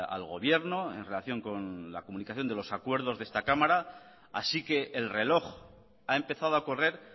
al gobierno en relación con la comunicación de los acuerdos de esta cámara así que el reloj ha empezado a correr